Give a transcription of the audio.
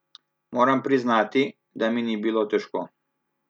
Moram priznati, da mi ni bilo težko.